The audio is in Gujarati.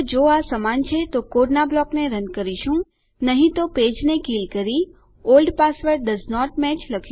તો જો આ સમાન છે તો કોડના બ્લોકને રન કરીશું નહી તો પેજને કીલ કરી ઓલ્ડ પાસવર્ડ ડોએસન્ટ મેચ